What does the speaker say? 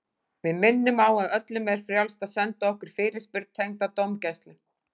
Við minnum á að öllum er frjálst að senda okkur fyrirspurn tengda dómgæslu.